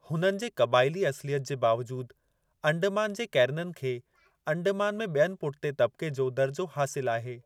हुननि जे क़बाइली असुलियत जे बावजूदु, अंडमान जे कैरननि खे, अंडमान में बि॒यनि पुठते तबिके़ जो दर्जो हासिलु आहे।